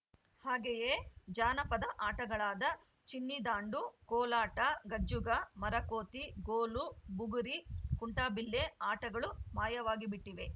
ಹಾಗೆಯೇ ಜಾನಪದ ಆಟಗಳಾದ ಚಿನ್ನಿದಾಂಡು ಕೋಲಾಟ ಗಜ್ಜುಗ ಮರಕೋತಿ ಗೋಲು ಬುಗುರಿ ಕುಂಟಾಬಿಲ್ಲೆ ಆಟಗಳು ಮಾಯವಾಗಿಬಿಟ್ಟಿವೆ